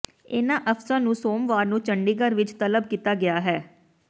ਇਨ੍ਹਾਂ ਅਫਸਰਾਂ ਨੂੰ ਸੋਮਵਾਰ ਨੂੰ ਚੰਡੀਗੜ੍ਹ ਵਿਚ ਤਲਬ ਕੀਤਾ ਗਿਆ ਹੈ